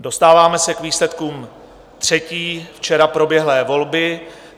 Dostáváme se k výsledkům třetí včera proběhlé volby